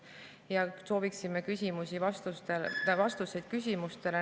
Me sooviksime vastuseid küsimustele.